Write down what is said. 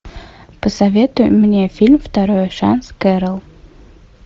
посоветуй мне фильм второй шанс кэрол